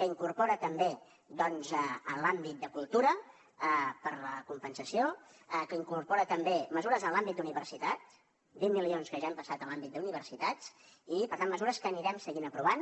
que incorpora també en l’àmbit de cultura per compensació que incorpora també mesures en l’àmbit de la universitat vint milions que ja han passat a l’àmbit d’universitats i per tant mesures que anirem seguint aprovant